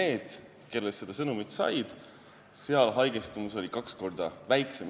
Nende hulgas, kes selle sõnumi said, oli haigestumus kaks korda väiksem.